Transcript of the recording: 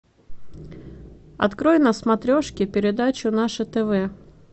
открой на смотрешке передачу наше тв